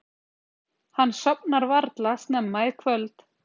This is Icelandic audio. Hann sofnar varla snemma í kvöld.